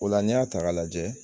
O la n'i y'a taga ka lajɛ